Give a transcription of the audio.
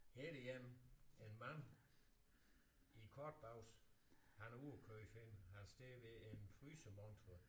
Her er der en en mand i korte bukser han er ude og købe ind han står ved en frysemontre